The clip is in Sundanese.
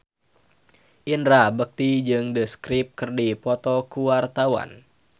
Indra Bekti jeung The Script keur dipoto ku wartawan